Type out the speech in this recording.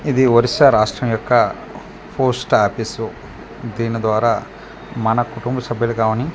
ఇది ఒరిస్స రాస్ట్రం యొక్క పోస్ట్ ఆఫీసు దీని ద్వారా మన కుటుంబ సభ్యులు కానీ .